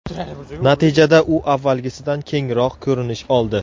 Natijada u avvalgisidan kengroq ko‘rinish oldi.